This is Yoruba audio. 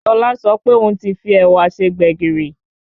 Tọ́lá sọ pé òún ti fi ẹ̀wà se gbẹ̀gìrì